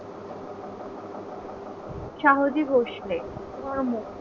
শাহজী ভোসলে কর্ম